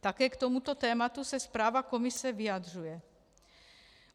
Také k tomuto tématu se zpráva komise vyjadřuje.